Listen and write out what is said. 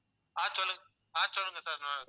ஆஹ் சொல்லுங்க ஆஹ் சொல்லுங்க sir